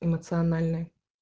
эмоциональной